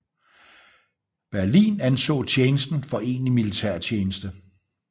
Berlin anså tjenesten for egentlig militærtjeneste